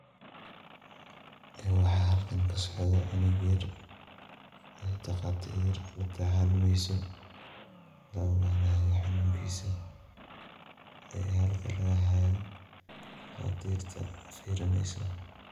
Waxa halkan kasocdo cunug yar ey dhaqatiir latacaleyso laoganayo xanunkisa iyo halka lagahayo dhaqatiirta fir fiirineyso.